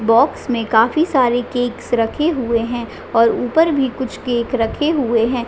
Box में काफी सारे केक्स रखे हुए है और ऊपर भी कुछ केक रखे हुए है।